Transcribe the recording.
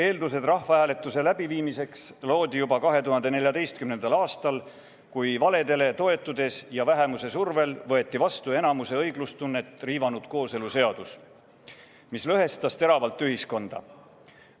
Eeldused rahvahääletuse läbiviimiseks loodi juba 2014. aastal, kui valedele toetudes ja vähemuse survel võeti vastu enamuse õiglustunnet riivanud kooseluseadus, mis lõhestas teravalt ühiskonda.